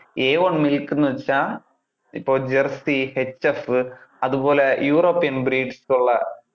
a one milk എന്ന് വെച്ചാൽ ഇപ്പൊ jersey അതുപോലെ european breeds ഉള്ള.